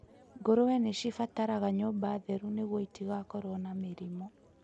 Ngũrũwe nĩ cibataraga nyũmba theru nĩguo itigakorũo na mĩrimũ.